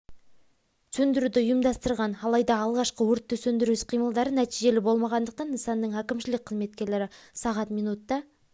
сөндіруді ұйымдастырған алайда алғашқы өртті сөндіру іс қимылдары нәтижелі болмағандықтан нысанның әкімшілік қызметкерлері сағат минутта